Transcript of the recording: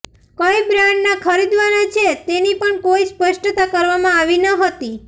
કઇ બ્રાન્ડના ખરીદવાના છે તેની પણ કોઇ સ્પષ્ટતા કરવામાં આવી ન હતી